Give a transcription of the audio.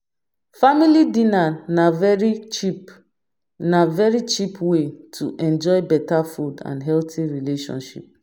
Family dinner na very cheap na very cheap way to enjoy better food and healthy relationship